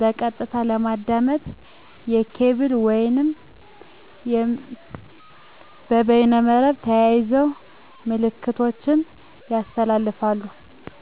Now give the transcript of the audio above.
በቀጥታ ለማዳመጥ። በኬብል ወይም በበይመርብ ተያይዘው ምልክቶችን ያስተላልፋሉ።